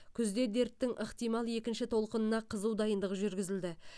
күзде дерттің ықтимал екінші толқынына қызу дайындық жүргізілді